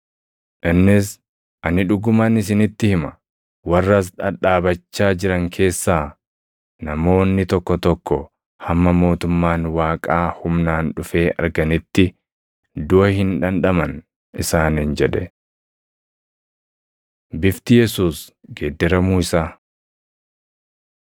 Innis, “Ani dhuguman isinitti hima; warra as dhadhaabachaa jiran keessaa namoonni tokko tokko hamma mootummaan Waaqaa humnaan dhufee arganitti duʼa hin dhandhaman” isaaniin jedhe. Bifti Yesuus Geeddaramuu Isaa 9:2‑8 kwf – Luq 9:28‑36 9:2‑13 kwf – Mat 17:1‑13